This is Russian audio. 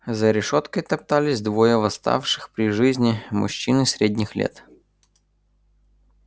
за решёткой топтались двое восставших при жизни мужчины средних лет